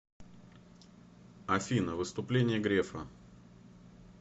афина выступление грефа